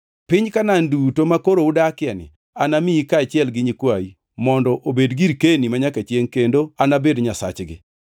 Piny Kanaan duto makoro udakieni anamiyi kaachiel gi nyikwayi mondo obed girkeni manyaka chiengʼ kendo anabed Nyasachgi.”